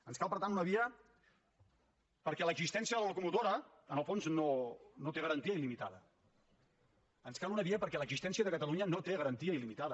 ens cal per tant una via perquè l’existència de la locomotora en el fons no té garantia iluna via perquè l’existència de catalunya no té garantia il·limitada